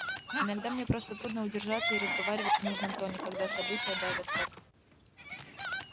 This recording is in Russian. иногда мне просто трудно удержаться и разговаривать в нужном тоне когда события давят как